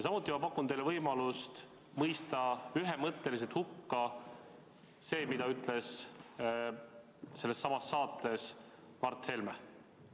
Samuti pakun ma teile võimalust mõista ühemõtteliselt hukka see, mida ütles sellessamas saates Mart Helme.